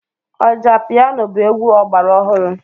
Ọjà piano bụ egwu ọgbara ọhụrụ.